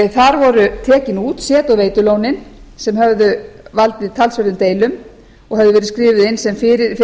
þar voru tekin út set og veitulón sem höfðu valdið talsverðum deilum og höfðu verið skrifuð inn